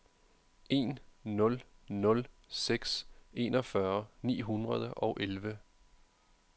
en nul nul seks enogfyrre ni hundrede og elleve